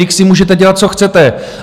Vždyť si můžete dělat, co chcete.